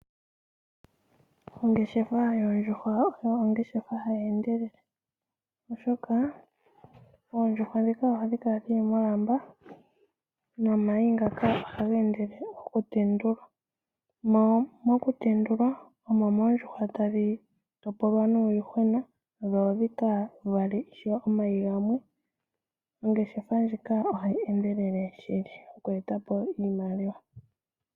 Oongeshefa yondjuhwa oyo ongeshefa hayendelele oshoka oondjuhwa dhika ohadhi kala dhili molamba nomayi ngaka oha gendelele oku tendulwa mo mokutendulwa omo mondjuhwa tadhi topolwa nuuyuhwena dho odhikavale ishewe omayi ngamwe ongeshefa ndjika ohayi endelele shili oku etapo iimaliwa.